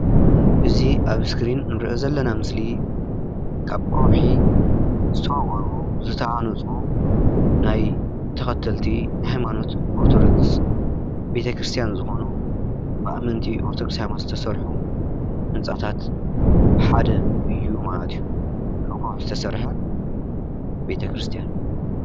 እዚ ኣብ እስክሪን አንርእዮ ዘለና ምስሊ ካብ ኾውሒ ዝተዋቀሩ ዝተሃነፁ ናይ ተከተልቲ ሃይማኖት ኦርቶዶክስ ቤተ- ክርሰትያን ዝኾኑ ብኣመንቲ ኦርቶዶክስ ሃይማኖት ዝተሰርሑ ህንፃታት ሓደ እዩ ማለተ እዩ። ካብ ኾውሒዝተሰርሐ ቤተ-ክርስትያን።